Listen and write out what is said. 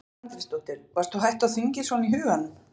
Edda Andrésdóttir: Varst þú hætt á þingi svona í huganum?